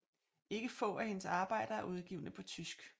Ikke få af hendes arbejder er udgivne på tysk